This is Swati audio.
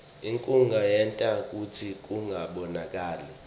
inkhunga yenta kutsi kungabonakali